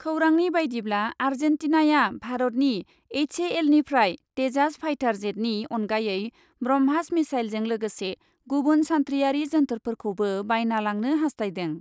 खौरांनि बायदिब्ला, आर्जेन्टिनाया भारतनि एइचएएलनिफ्राय तेजास फाइटार जेटनि अनगायै ब्रह्मास मिसाइलजों लोगोसे गुबुन सान्थ्रियारि जोन्थोरफोरखौबो बायना लांनो हासथायदों ।